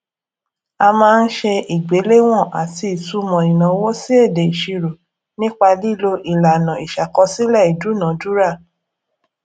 a máa ń ṣe ìgbéléwọn àti ìtumò ìnáwó sí èdè ìṣirò nípa lílo ìlànà ìṣàkọsílẹ ìdúnadúrà